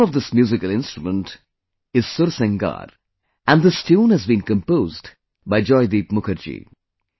The name of this musical instrumental mantra is 'Sursingar' and this tune has been composed by Joydeep Mukherjee